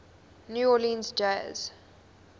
new orleans jazz